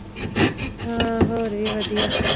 ਹਨ ਹੋਰ ਵੀ ਵਧੀਆ